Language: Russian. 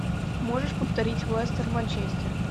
можешь повторить лестер манчестер